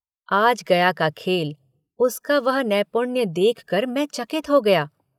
आज गया का खेल उसका वह नैपुण्य देखकर मैं चकित हो गया।